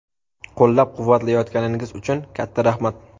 Qo‘llab-quvvatlayotganingiz uchun katta rahmat.